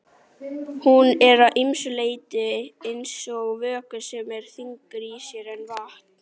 Hún er að ýmsu leyti eins og vökvi sem er þyngri í sér en vatn.